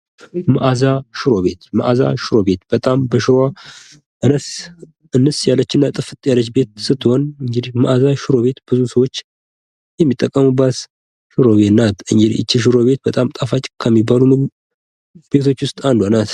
ምግብ ቤቶች የደንበኞችን ፍላጎት ለማሟላት የተለያዩ የአገልግሎት ዓይነቶችን እንደ መቀመጫ፣ መውሰድና ማድረስ ያቀርባሉ።